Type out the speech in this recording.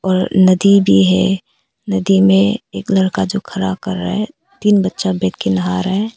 नदी भी है नदी में एक लड़का जो खड़ा कर रहा है तीन बच्चा बैठ के नहा रहा है।